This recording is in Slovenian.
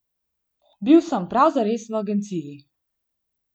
Bil sem prav zares v agenciji.